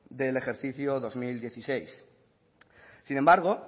del ejercicio dos mil dieciséis sin embargo